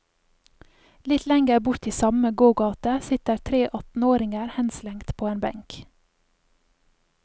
Litt lenger bort i samme gågate sitter tre attenåringer henslengt på en benk.